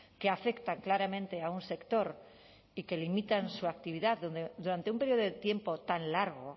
que afectan claramente a un sector y que limitan su actividad durante un periodo de tiempo tan largo